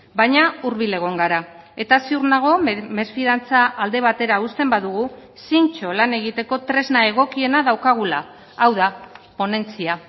baina hurbil egon gara eta ziur nago mesfidantza alde batera uzten badugu zintzo lan egiteko tresna egokiena daukagula hau da ponentzia